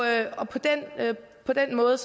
på den måde